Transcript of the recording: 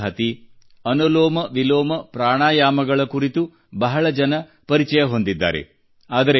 ಕಪಾಲಭಾತಿ ಅನುಲೋಮ ವಿಲೋಮ ಪ್ರಾಣಾಯಾಮಗಳ ಕುರಿತು ಬಹಳ ಜನ ಪರಿಚಯ ಹೊಂದಿದ್ದಾರೆ